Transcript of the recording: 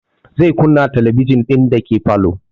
Zai kunna talabijin ɗin dake falo